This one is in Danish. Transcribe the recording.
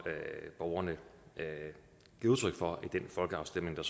borgerne giver udtryk for i den folkeafstemning